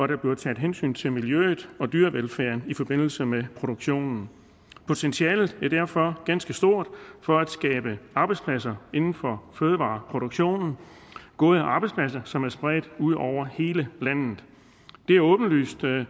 der bliver taget hensyn til miljøet og dyrevelfærden i forbindelse med produktionen potentialet er derfor ganske stort for at skabe arbejdspladser inden for fødevareproduktionen gode arbejdspladser som er spredt ud over hele landet det er åbenlyst at